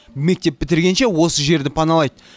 мектеп бітіргенше осы жерді паналайды